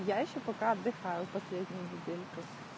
я ещё пока отдыхаю последнюю недельку